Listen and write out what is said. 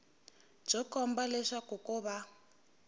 byo komba leswaku ko va